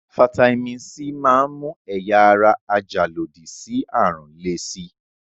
Fataímìn C máa ń mú ẹ̀yà ara ajàlòdí sí àrùn le si.